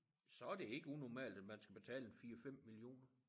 Så det ikke unormalt at man skal betale en 4 5 millioner